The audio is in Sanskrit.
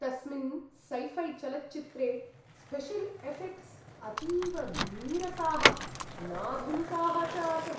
तस्मिन् सैफ़ैचलच्चित्रे स्पेशल् एऴेक्ट्स् अतीव नीरसाः, नाधुनिकाः च आसन्।